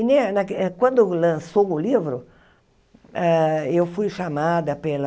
E ne naque quando lançou o livro, ah eu fui chamada pela...